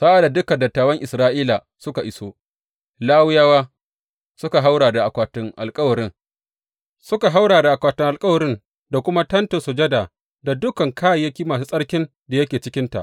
Sa’ad da dukan dattawan Isra’ila suka iso, Lawiyawa suka ɗauki akwatin alkawarin, suka haura da akwatin alkawarin da kuma Tentin Sujada da dukan kayayyaki masu tsarkin da yake cikinta.